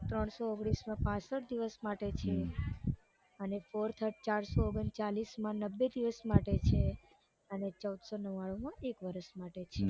ત્રણસો ઓગણીસમા પાંસઠ દિવસ માટે છે અને ચારસો ઓગણચાળીસમાં નબબે દિવસ માટે છે અને ચૌદસોનવ્વાણુમાં એક વરસ માટે છે